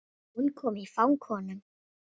Hún kom í fang honum.